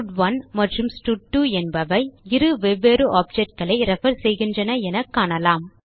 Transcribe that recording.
ஸ்டட்1 மற்றும் ஸ்டட்2 என்பவை இரு வெவ்வேறு objectகளை ரெஃபர் செய்கின்றன என காணலாம்